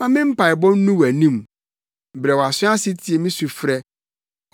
Ma me mpaebɔ nnu wʼanim; brɛ wʼaso ase tie me sufrɛ.